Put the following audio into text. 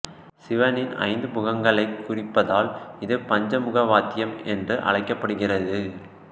சிவனின் ஐந்து முகங்களைக் குறிப்பதால் இது பஞ்சமுக வாத்தியம் என்று அழைக்கப்படுகிறது